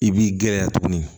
I b'i gɛlɛya tuguni